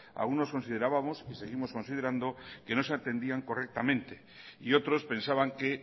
algunos considerábamos y seguimos considerando que no se atendía correctamente y otros pensaban que